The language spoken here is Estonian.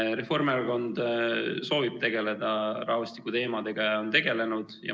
Reformierakond soovib tegeleda rahvastikuteemadega ja on tegelenud.